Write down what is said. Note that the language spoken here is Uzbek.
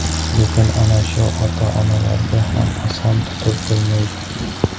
Lekin ana shu ota-onalarga ham oson tutib bo‘lmaydi.